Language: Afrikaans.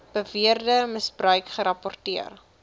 beweerde misbruik gerapporteer